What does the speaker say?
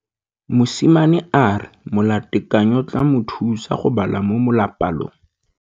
Mosimane a re molatekanyô o tla mo thusa go bala mo molapalong.